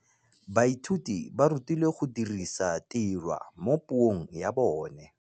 Baithuti ba rutilwe go dirisa tirwa mo puong ya bone.